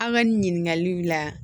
An ka nin ɲininkaliw la